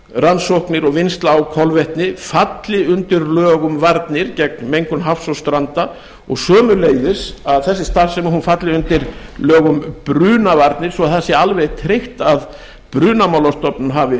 rannsóknir og vinnsla á kolvetni falli undir lög um varnir gegn mengun hafs og stranda og sömuleiðis að þessi starfsemi falli undir lög um brunavarnir svo það sé alveg tryggt að brunamálastofnun hafi